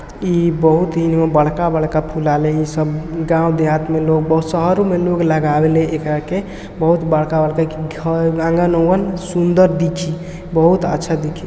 ई बहुत ही बड़का बड़का फुलाले है ई सब गाँव देहात में लोग बाग सारे में लोग लगावेले ऐ करके बहुत बड़का बड़का एक घर आंगन उनगं सुंदर दिखी बहुत अच्छा दिखी।